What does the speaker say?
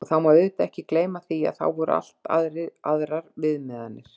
Það má auðvitað ekki gleyma því, að þá voru allt aðrar viðmiðanir.